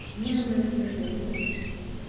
inendet ne koletu